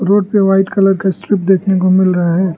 Road पे white colour का strip देखने को मिल रहा है।